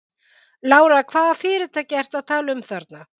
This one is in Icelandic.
Lára: Hvaða fyrirtæki ertu að tala um þarna?